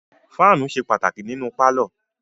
Fáànù ṣe pàtàkì nínú pálọ̀.